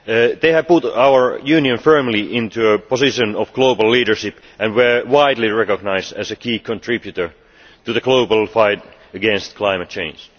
They have put our Union firmly into a position of global leadership and were widely recognised as a key contributor in the global fight against climate change.